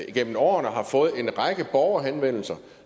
igennem årene har fået en række borgerhenvendelser